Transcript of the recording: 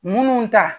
Munnu ta